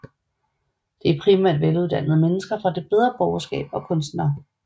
Det er primært veluddannede mennesker fra det bedre borgerskab og kunstnere